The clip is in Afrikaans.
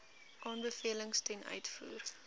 aanbevelings ten uitvoer